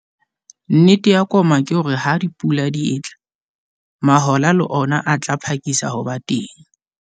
Nnete ya koma ke hore ha dipula di etla, mahola le ona a tla phakisa ho ba teng.